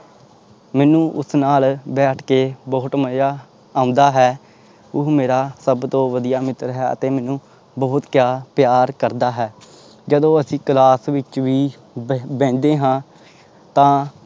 ਮੈਨੂੰ ਉਸ ਨਾਲ ਬੈਠ ਕੇ ਬਹੁਤ ਮਜ਼ਾ ਆਉਂਦਾ ਹੈ, ਉਹ ਮੇਰਾ ਸਭ ਤੋਂ ਵਧੀਆ ਮਿੱਤਰ ਹੈ ਅਤੇ ਮੈਨੂੰ ਬਹੁਤ ਪਿਆ ਪਿਆਰ ਕਰਦਾ ਹੈ। ਜਦੋਂ ਅਸੀਂ class ਵਿੱਚ ਵੀ ਬਹਿ ਬਹਿੰਦੇ ਹਾਂ ਤਾਂ